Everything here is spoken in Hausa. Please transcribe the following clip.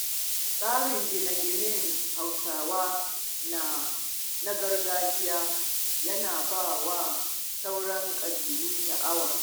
Tsarin gine-ginen Hausawa na gargajiya yana ba wa sauran ƙabilu sha'awa.